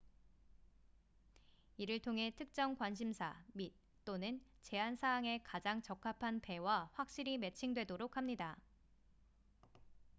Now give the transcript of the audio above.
이를 통해 특정 관심사 및/또는 제한 사항에 가장 적합한 배와 확실히 매칭 되도록 합니다